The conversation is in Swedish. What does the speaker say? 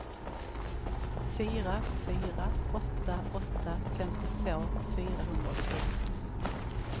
fyra fyra åtta åtta femtiotvå fyrahundraåttioett